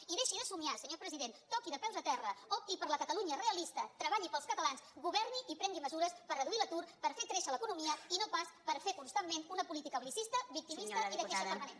i deixi de somiar senyor president toqui de peus a terra opti per la catalunya realista treballi pels catalans governi i prengui mesures per reduir l’atur per fer créixer l’economia i no pas per fer constantment una política bel·licista victimista i de queixa permanent